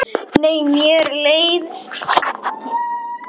Nei, mér leiðist ekki.